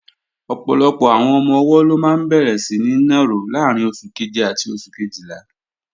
Ọ̀pọ̀lọpọ̀ àwọn ọmọ-ọwọ́ ló máa bẹ̀rẹ̀ síní nàró láàrín oṣù keje àti oṣù kejìlá